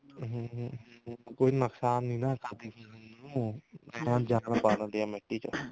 ਹਮ ਹਮ ਕੋਈ ਨੁਕਸਾਨ ਨੀ ਨਾ ਏਵੇਂ ਆ ਜਾਂ ਪਾ ਦਿੰਦੀ ਆ ਮਿੱਟੀ ਚ